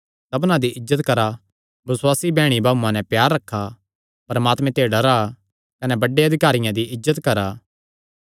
साबना दी इज्जत करा बसुआसी बैह्णीभाऊआं नैं प्यार रखा परमात्मे ते डरा कने बड्डे अधिकारियां दी इज्जत करा